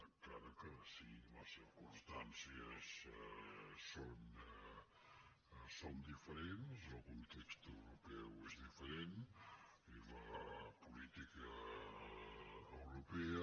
encara que sí les circumstàncies són diferents el context europeu és diferent i la política europea